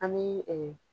An bɛ